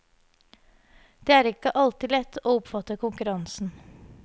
Det er ikke alltid like lett å oppfatte konkurransen.